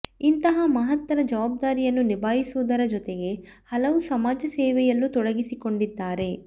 ಇಂತಹ ಮಹತ್ತರ ಜವಾಬ್ದಾರಿಯನ್ನು ನಿಭಾಯಿಸುವುದರ ಜೊತೆಗೆ ಹಲವು ಸಮಾಜ ಸೇವೆಯಲ್ಲೂ ತೊಡಗಿಸಿಕೊಂಡಿದ್ದಾರೆ